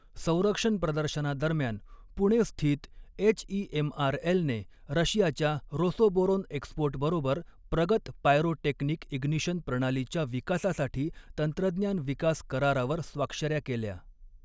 संरक्षण प्रदर्शनादरम्यान पुणे स्थित एचईएमआरएलने रशियाच्या रोसोबोरोन एक्सपोर्ट बरोबर प्रगत पायरो टेक्निक इग्नीशन प्रणालीच्या विकासासाठी तंत्रज्ञान विकास करारावर स्वाक्षऱ्या केल्या.